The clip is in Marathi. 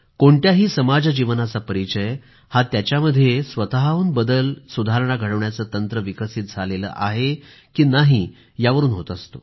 कोणत्याही समाज जीवनाचा परिचय हा त्याच्यातील स्वतःहून केलेला बदल सुधारणा घडवण्याचे तंत्र विकसित झाले आहे की नाही यावरून होत असतो